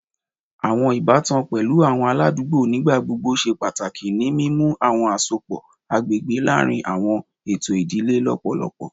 Awọn ibatan pẹlu awọn aladugbo nigbagbogbo ṣe pataki ni mimu awọn asopọ agbegbe laarin awọn eto idile lọpọlọpọ